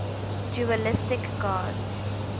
dualistic gods